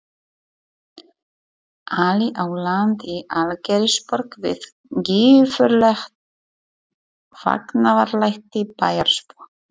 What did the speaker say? Ali á land í Algeirsborg við gífurleg fagnaðarlæti bæjarbúa.